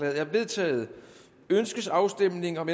er vedtaget ønskes afstemning om